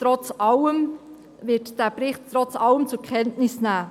Die EVP wird diesen Bericht trotz allem zur Kenntnis nehmen.